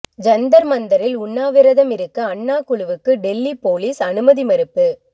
ஜந்தர் மந்தரில் உண்ணாவிரதம் இருக்க அன்னா குழுவுக்கு டெல்லி போலீஸ் அனுமதி மறுப்பு